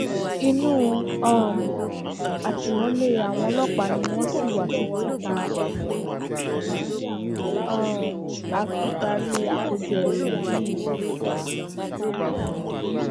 inú um àtìmọlé àwọn ọlọpàá ni wọn ṣì wà títí tá um a fi parí àkójọ ìròyìn yìí